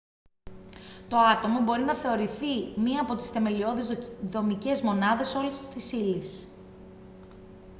το άτομο μπορεί να θεωρηθεί μια από τις θεμελιώδεις δομικές μονάδες όλης της ύλης